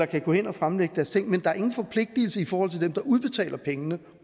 kan gå hen og fremlægge deres ting men der er ingen forpligtigelse i forhold til dem der udbetaler pengene